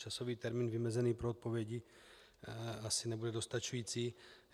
Časový termín vymezený pro odpovědi asi nebude dostačující.